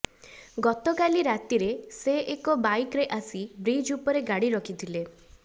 ଗତକାଲି ରାତିରେ ସେ ଏକ ବାଇକରେ ଆସି ବ୍ରିଜ ଉପରେ ଗାଡ଼ି ରଖିଥିଲେ